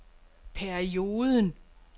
perioden